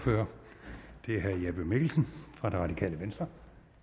og det er herre jeppe mikkelsen fra det radikale venstre